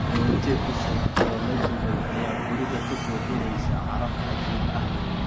Rooti cusub oo la dubay ayaa guriga ka buuxinaysa caraf cajiib ah.